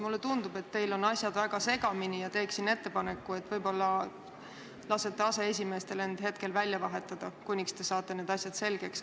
Mulle tundub, et teil on asjad väga segamini, ja teen ettepaneku, et võib-olla lasete aseesimeestel end hetkel välja vahetada, kuni saate need asjad selgeks.